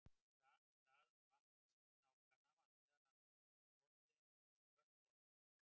Í stað vatnasnákanna var meðal annars notuð olía úr skröltormum.